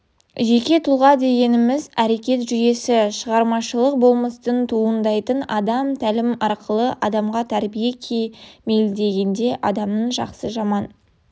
жеке тұлға дегеніміз әрекет жүйесі шығармашылық болмыстан туындайтын адам тәлім арқылы адамға тәрбие кемелдегенде адамның жақсы-жаман